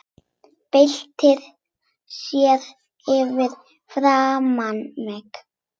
Byltir sér fyrir framan mig.